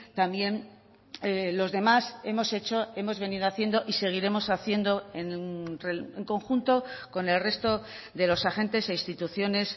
también los demás hemos hecho hemos venido haciendo y seguiremos haciendo en conjunto con el resto de los agentes e instituciones